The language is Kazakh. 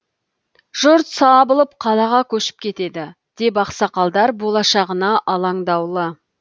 жұрт сабылып қалаға көшіп кетеді деп ақсақалдар болашағына алаңдаулы